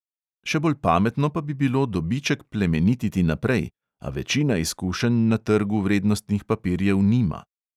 Še bolj pametno pa bi bilo dobiček plemenititi naprej, a večina izkušenj na trgu vrednostnih papirjev nima.